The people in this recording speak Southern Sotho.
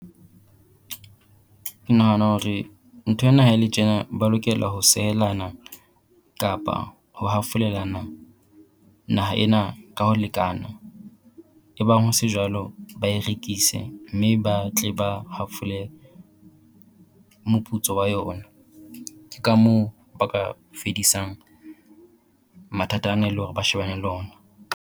Ke nahana hore nthwena ha e le tjena ba lokela ho sehelana, kapa ho hafolelana naha ena ka ho lekana e bang ho se jwalo ba e rekise mme ba tle ba hafole moputso wa yona. Ke ka moo ba ka fedisang mathata ana le hore ba shebane le ona.